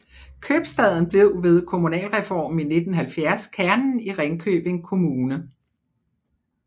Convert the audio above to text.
Købstaden blev ved kommunalreformen i 1970 kernen i Ringkøbing Kommune